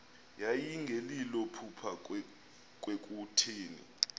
yayingelilo phupha kwakutheni